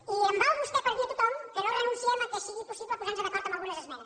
i em val vostè per dir a tothom que no renunciem que sigui possible posar nos d’acord en algunes esmenes